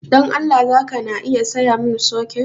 Dan Allah zaka na iya sayamun soket?